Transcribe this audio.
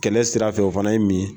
Kɛlɛ sirafɛ o fana ye min ye.